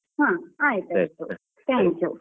ಹಾ ಆಯ್ತಯ್ತು thank you .